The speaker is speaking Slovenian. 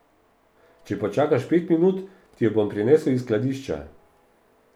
Če počakaš pet minut, ti jo bom prinesel iz skladišča.